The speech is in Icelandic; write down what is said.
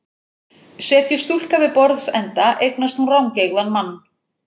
Setjist stúlka við borðsenda eignast hún rangeygðan mann.